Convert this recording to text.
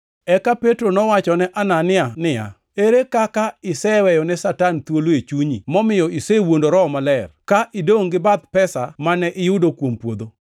Eka Petro nowachone Anania niya, “Ere kaka iseweyone Satan thuolo e chunyi momiyo isewuondo Roho Maler, ka idongʼ gi bath pesa mane iyudo kuom puodho?